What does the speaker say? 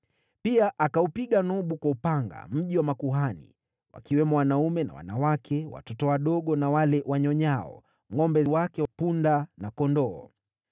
Pia akaupiga Nobu kwa upanga, mji wa makuhani, wakiwemo wanaume na wanawake, watoto wadogo na wale wanyonyao, ngʼombe wake, punda na kondoo.